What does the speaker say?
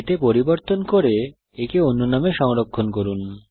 এতে পরিবর্তন করুন এবং একে অন্য নামে সংরক্ষণ করুন